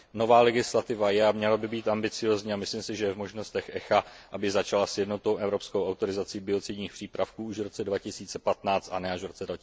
Nová legislativa je a měla by být ambiciózní a myslím si, že je v možnostech ECHA, aby začala s jednotnou evropskou autorizací biocidních přípravků již v roce 2015, a ne až v roce